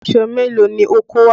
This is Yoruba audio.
Aṣọ mélòó ni o kó wá?